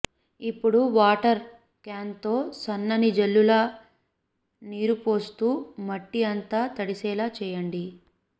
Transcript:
ఇప్పుడు వాటర్ క్యాన్తో సన్నని జల్లులా నీరుపోస్తూ మట్టి అంతా తడిసేలా చేయండి